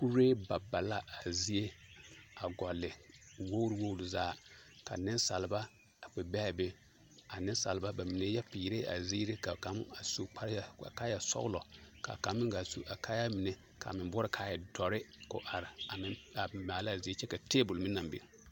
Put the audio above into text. Kuree ba ba la a zie a gɔlle wogiri wogiri zaa ka nensaalba a kpɛ be a be a nensaalba bamine yɛ peerɛɛ a ziiri ka kaŋ a su kaaya sɔgelɔ ka kaŋ meŋ gaa su a kaayaa mine k'a meŋ boɔrɔ k'a e dɔre k'o are a maala a zie kyɛ k'a teebol meŋ naŋ biŋ.